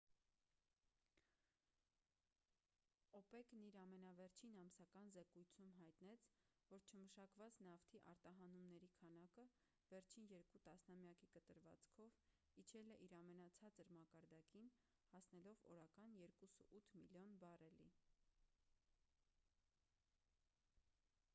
օպեկ-ն իր ամենավերջին ամսական զեկույցում հայտնեց որ չմշակված նավթի արտահանումների քանակը վերջին երկու տասնամյակի կտրվածքով իջել է իր ամենացածր մակարդակին հասնելով օրական 2,8 միլիոն բարելի